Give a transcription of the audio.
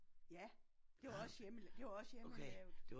Ja det var også hjemme det var også hjemmelavet